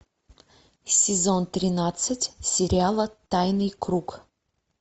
сезон тринадцать сериала тайный круг